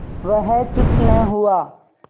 वह चुप न हुआ